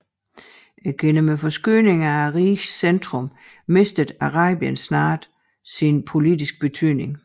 Gennem forskydningen af rigets centrum mistede Arabien snart sin politiske betydning